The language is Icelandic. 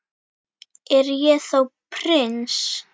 Er ég þá prins?